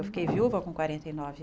Eu fiquei viúva com quarenta e nove